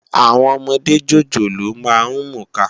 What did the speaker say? Áwòn òmòdé jójóló má n múká